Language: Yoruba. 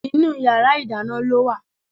Inú yàrá ìdáná ló wà